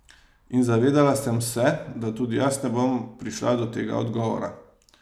In zavedala sem se, da tudi jaz ne bom prišla do tega odgovora.